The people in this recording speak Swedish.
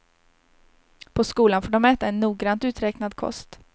På skolan får de äta en noggrant uträknad kost.